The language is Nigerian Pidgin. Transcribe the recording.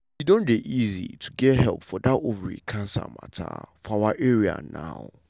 e don dey easy to get help for that ovary cancer matter for our area now.